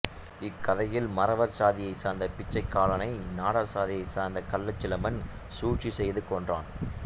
இக்கதையில் மறவர் சாதியை சார்ந்த பிச்சைக்காலனை நாடார் சாதியை சார்ந்த கள்ளச்சிலம்பன் சூழ்ச்சி செய்து கொன்றார்